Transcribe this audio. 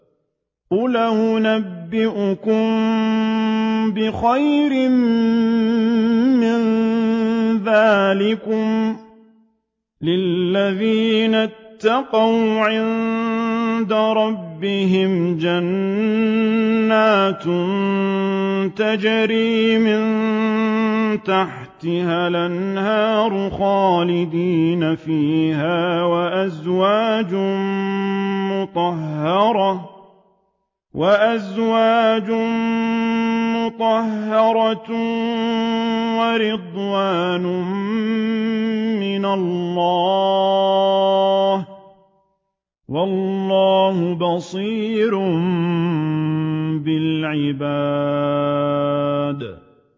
۞ قُلْ أَؤُنَبِّئُكُم بِخَيْرٍ مِّن ذَٰلِكُمْ ۚ لِلَّذِينَ اتَّقَوْا عِندَ رَبِّهِمْ جَنَّاتٌ تَجْرِي مِن تَحْتِهَا الْأَنْهَارُ خَالِدِينَ فِيهَا وَأَزْوَاجٌ مُّطَهَّرَةٌ وَرِضْوَانٌ مِّنَ اللَّهِ ۗ وَاللَّهُ بَصِيرٌ بِالْعِبَادِ